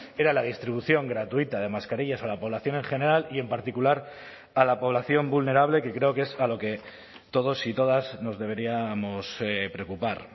era la distribución gratuita de mascarillas a la población en general y en particular a la población vulnerable que creo que es a lo que todos y todas nos deberíamos preocupar